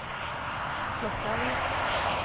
Klokkarvik